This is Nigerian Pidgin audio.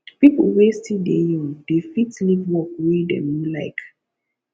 pipo wey still dey young dey fit leave work wey dem no like